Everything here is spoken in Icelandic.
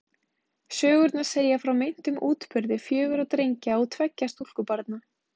Sögurnar segja frá meintum útburði fjögurra drengja og tveggja stúlkubarna.